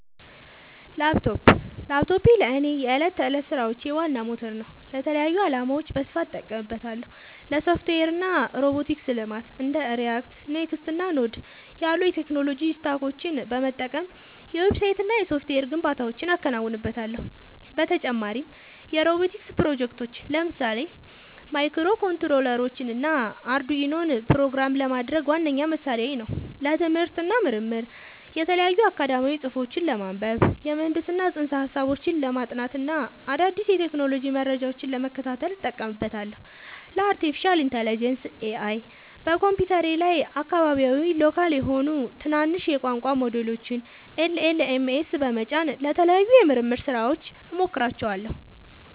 ላፕቶፕ ላፕቶፔ ለእኔ የዕለት ተዕለት ሥራዎቼ ዋና ሞተር ነው። ለተለያዩ ዓላማዎች በስፋት እጠቀምበታለሁ - ለሶፍትዌር እና ሮቦቲክስ ልማት እንደ React፣ Next.js እና Node.js ያሉ የቴክኖሎጂ ስታኮችን በመጠቀም የዌብሳይትና የሶፍትዌር ግንባታዎችን አከናውንበታለሁ። በተጨማሪም የሮቦቲክስ ፕሮጀክቶችን (ለምሳሌ ማይክሮኮንትሮለሮችንና አርዱኢኖን) ፕሮግራም ለማድረግ ዋነኛ መሣሪያዬ ነው። ለትምህርት እና ምርምር የተለያዩ አካዳሚያዊ ጽሑፎችን ለማንበብ፣ የምህንድስና ፅንሰ-ሀሳቦችን ለማጥናት እና አዳዲስ የቴክኖሎጂ መረጃዎችን ለመከታተል እጠቀምበታለሁ። ለአርቲፊሻል ኢንተለጀንስ (AI) በኮምፒውተሬ ላይ አካባቢያዊ (local) የሆኑ ትናንሽ የቋንቋ ሞዴሎችን (LLMs) በመጫን ለተለያዩ የምርምር ሥራዎች እሞክራቸዋለሁ።